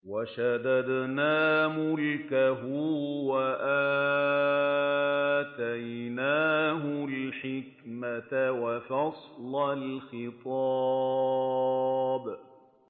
وَشَدَدْنَا مُلْكَهُ وَآتَيْنَاهُ الْحِكْمَةَ وَفَصْلَ الْخِطَابِ